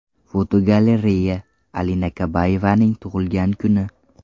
Fotogalereya: Alina Kabayevaning tug‘ilgan kuni.